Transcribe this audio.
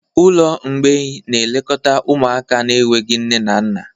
Ụlọ mgbei na-elekọta ụmụaka na-enweghị nne na nna.